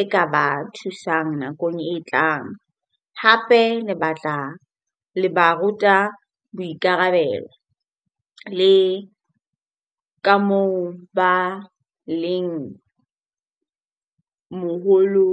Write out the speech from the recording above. e ka ba thusang nakong e tlang. Hape le batla, le ba ruta boikarabelo le ka moo ba leng moholo.